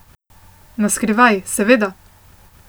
Na skrivaj, seveda!